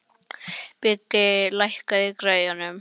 Biggi, lækkaðu í græjunum.